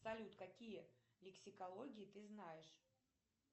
салют какие лексикологии ты знаешь